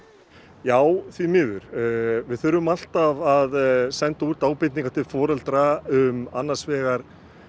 já því miður við þurfum alltaf að senda út ábendingar til foreldra um annars vegar